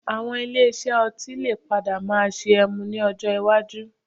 Àwọn ilé iṣẹ́ ọtí lè padà máa ṣe ẹmu ní ọjọ́ iwájú